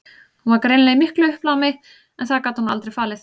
Hún var greinilega í miklu uppnámi en það gat hún aldrei falið.